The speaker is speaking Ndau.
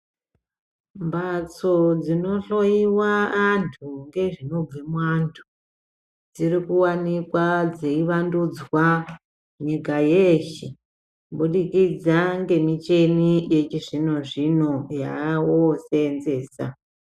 Mphatso dzinohloyiwa antu ngezvinobve muantu dziri kuwanika dzeivandudzwa nyika yeshe kubudikidza ngemicheni yechizvino zvino yawoseenzesa.